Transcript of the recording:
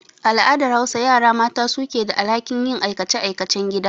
A al'adar Hausa, yara mata su ke da alhakin yin aikace-aikacen gida.